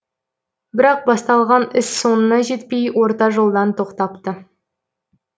бірақ басталған іс соңына жетпей орта жолдан тоқтапты